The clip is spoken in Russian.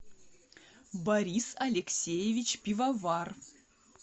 борис алексеевич пивовар